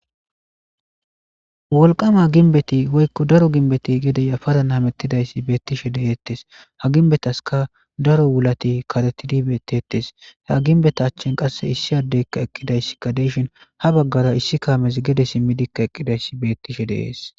wolqama ginbeti hoykko daro ginbeti gedeya para namettidayssi beettishe deyeettes ha ginbetaska daro wulati karetidibettetes ha ginbeta achchin qasse issi addeykka eqqidayssikka deyshin ha baggara issi kaames gede simmidikka eqqidayssi beettishe deees